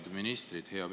Head ministrid!